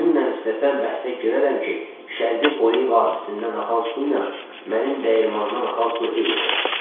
Kimlə istəsən bəhsə girərəm ki, Şərqi Pole hadisəsindən axan su ilə mənim dəyirmanımdan axan su eynidir.